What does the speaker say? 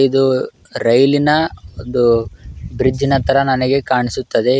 ಇದು ರೈಲಿನ ಒಂದು ಬ್ರಿಜ್ ನ ತರ ನನಗೆ ಕಾಣಿಸುತ್ತದೆ.